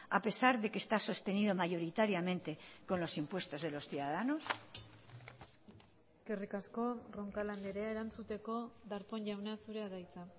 a pesar de que está sostenido mayoritariamente con los impuestos de los ciudadanos eskerrik asko roncal andrea erantzuteko darpón jauna zurea da hitza